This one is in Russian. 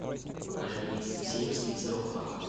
покажи рейсы в северск из рохтака